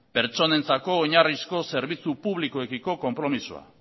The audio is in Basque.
pertsonentzako oinarrizko zerbitzu publikoekiko konpromisoa